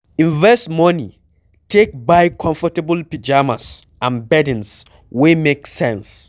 Invest money take buy comfortable pyjamas and beddings wey make sense